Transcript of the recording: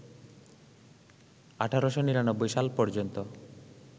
১৮৯৯ সাল পর্যন্ত